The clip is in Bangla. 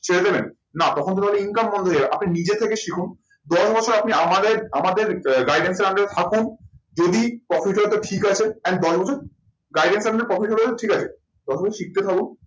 ছেড়ে দেবেন? না তখন তো তাহলে income বন্ধ হয়ে যাবে আপনি নিজে থেকে শিখুন। দশ বছর আপনি আমাদের, আমাদের guidance এর under এ থাকুন যদি ঠিক আছে and দশ বছর guidance আপনাকে profit ঠিক আছে। ততদিন শিখতে থাকুন